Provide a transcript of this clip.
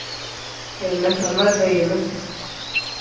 പിന്നെ അമ്മ എന്തോ ചെയ്യന്ന്